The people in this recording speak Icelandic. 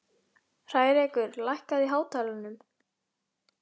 Hrærekur, lækkaðu í hátalaranum.